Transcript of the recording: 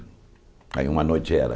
Aí uma noite era.